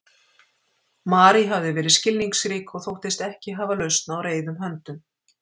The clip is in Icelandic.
Mary hafði verið skilningsrík og þóttist ekki hafa lausn á reiðum höndum.